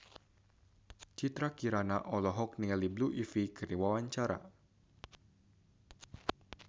Citra Kirana olohok ningali Blue Ivy keur diwawancara